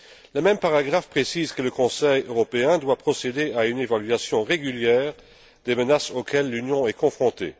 Le même paragraphe précise que le Conseil européen doit procéder à une évaluation régulière des menaces auxquelles l'Union est confrontée.